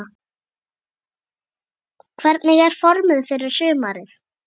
Hvernig er formið fyrir sumarið?